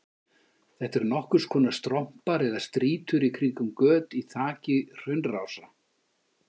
Þetta eru nokkurs konar strompar eða strýtur í kringum göt í þaki hraunrása.